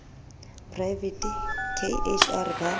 poraevete k h r ba